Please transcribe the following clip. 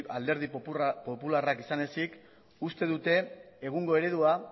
alderdi popularrak izan ezik uste dute egungo eredua